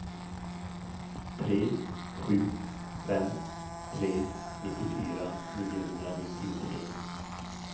tre sju fem tre nittiofyra niohundranittiotre